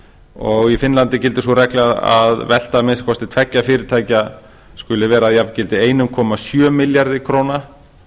og í finnlandi gildir sú regla að velta að minnsta kosti tveggja fyrirtækja skuli vera að jafngildi einum komma sjö milljarða króna